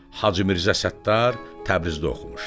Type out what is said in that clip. Hacı Mirzə Səttar Təbrizdə oxumuşdu.